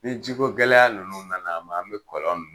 Ni jikogɛlɛya ninnu nana an ma an bɛ kɔlɔn min